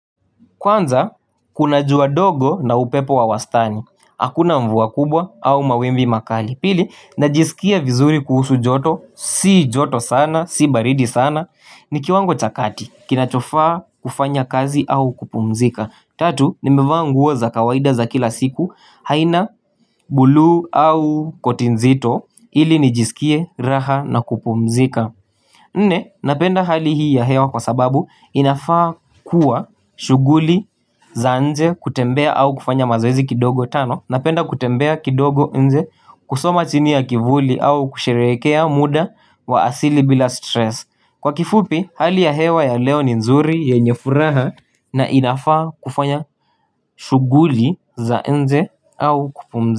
Kwanza kuna jua dogo na upepo wa wastani Hakuna mvua kubwa au mawimbi makali Pili najisikia vizuri kuhusu joto Si joto sana, si baridi sana Nikiwango cha kati kinachofaa kufanya kazi au kupumzika Tatu nimevaa nguo za kawaida za kila siku haina bluu au koti nzito Ili nijisikie raha na kupumzika Nne napenda hali hii ya hewa kwa sababu inafaa kuwa shughuli za nje kutembea au kufanya mazoezi kidogo tano Napenda kutembea kidogo nje kusoma chini ya kivuli au kusherehekea muda wa asili bila stress Kwa kifupi hali ya hewa ya leo ni nzuri yenye furaha na inafaa kufanya shughuli za nje au kupumza.